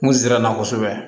N kun sɛbɛ na kosɛbɛ